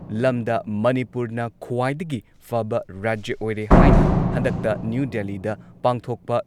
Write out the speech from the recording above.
ꯂꯝꯗ ꯃꯅꯤꯄꯨꯔꯅ ꯈ꯭ꯋꯥꯏꯗꯒꯤ ꯐꯕ ꯔꯥꯖ꯭ꯌ ꯑꯣꯏꯔꯦ ꯍꯥꯏꯅ ꯍꯟꯗꯛꯇ ꯅ꯭ꯌꯨ ꯗꯦꯜꯂꯤꯗ ꯄꯥꯡꯊꯣꯛꯄ